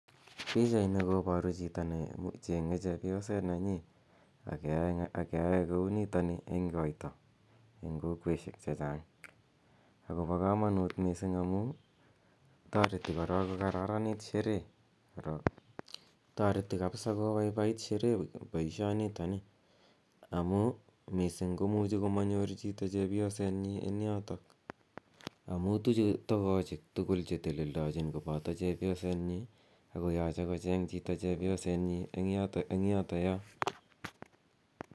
Pichaini koparu chito ne cheng'e chepyoset nenyi ak keyae kou nitani eng' koita eng' kokweshek che chang' akopa kamanut missing' amu tareti korok kararanit sherehe. Tareti kapsa kopaipait sherehe poishonitani amu missing' ko muchi ko manyor chito chepyosetnyi eng' yotok amu tuche togochik tugul che teleldachin kopata chepyosetnyi ako yache kocheng' chito chepyosetnyi eng' yotoyo.